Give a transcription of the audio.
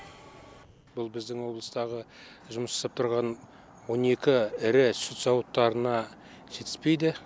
бұл біздің облыстағы жұмыс жасап тұрған он екі ірі сүт зауыттарына жетіспейді